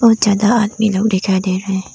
ज्यादा आदमी लोग दिखाई दे रहे हैं।